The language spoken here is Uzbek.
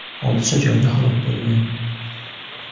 hodisa joyida halok bo‘lgan.